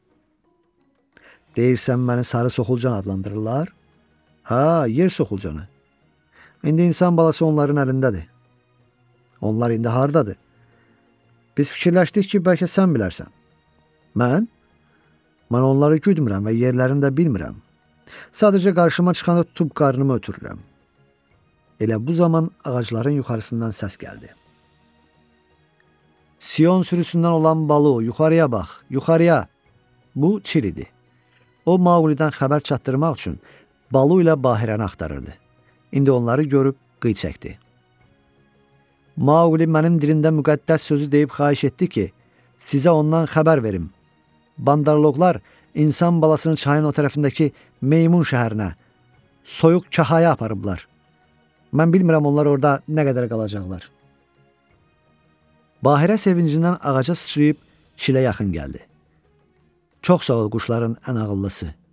Çox sağ ol, quşların ən ağıllısı.